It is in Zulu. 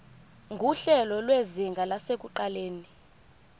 nguhlelo lwezinga lasekuqaleni